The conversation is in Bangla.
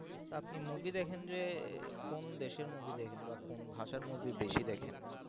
তা আপনি movie দেখেন যে কোন দেশের movie দেখেন বা কোন ভাষার movie বেশি দেখেন?